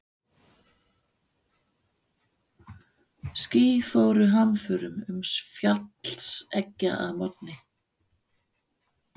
Ský fóru hamförum um fjallseggjar að morgni.